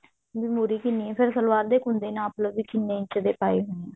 ਵੀ ਮੁਰ੍ਹੀ ਕਿੰਨੀ ਹੈ ਫ਼ੇਰ ਸਲਵਾਰ ਦੇ ਕੁੰਡੇ ਨਾਪ ਲੋ ਵੀ ਕਿੰਨੇ ਇੰਚ ਦੇ ਆਪੇ ਹੋਏ ਆ